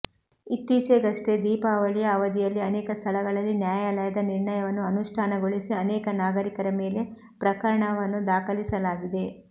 ಇತ್ತೀಚೆಗಷ್ಟೇ ದೀಪಾವಳಿಯ ಅವಧಿಯಲ್ಲಿ ಅನೇಕ ಸ್ಥಳಗಳಲ್ಲಿ ನ್ಯಾಯಾಲಯದ ನಿರ್ಣಯವನ್ನು ಅನುಷ್ಠಾನಗೊಳಿಸಿ ಅನೇಕ ನಾಗರಿಕರ ಮೇಲೆ ಪ್ರಕರಣವನ್ನು ದಾಖಲಿಸಲಾಗಿದೆ